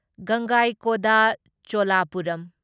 ꯒꯪꯒꯥꯢꯀꯣꯟꯗꯥ ꯆꯣꯂꯥꯄꯨꯔꯝ